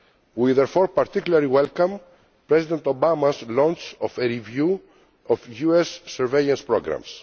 We therefore particularly welcome President Obama's launch of a review of US surveillance programmes.